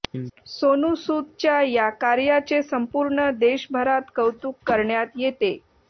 सोनू सूद च्या या कार्याचे संपूर्ण देशभरात कौतुक करण्यात येते